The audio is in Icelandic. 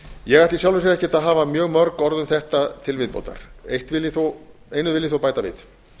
ég ætla í sjálfu sér ekkert að hafa mjög mörg orð um þetta til viðbótar einu vil ég þó bæta við